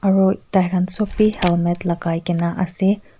aru tai khan sop bi helmet lagai kene ase.